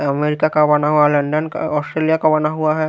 America का बना हुआ लंदन का ऑस्ट्रेलिया का बना हुआ है।